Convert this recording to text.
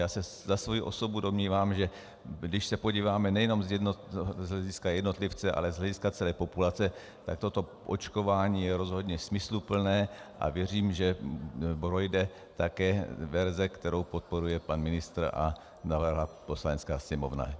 Já se za svoji osobu domnívám, že když se podíváme nejenom z hlediska jednotlivce, ale z hlediska celé populace, tak toto očkování je rozhodně smysluplné, a věřím, že projde také verze, kterou podporuje pan ministr a navrhla Poslanecká sněmovna.